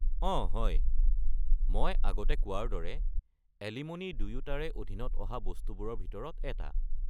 অঁ হয়, মই আগতে কোৱাৰ দৰে এলিম'নি দুয়োটাৰে অধীনত অহা বস্তুবোৰৰ ভিতৰত এটা।